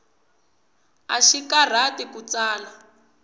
axi karhati ku tsala